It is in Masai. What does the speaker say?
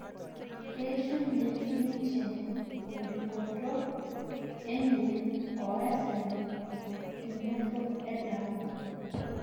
Keishunye ninje enbikoto enye o asenol temusho ele ari